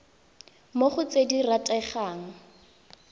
mo go tse di rategang